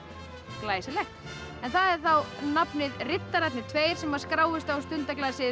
glæsilegt það er þá nafnið riddararnir tveir sem skráist á